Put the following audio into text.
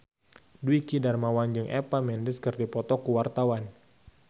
Dwiki Darmawan jeung Eva Mendes keur dipoto ku wartawan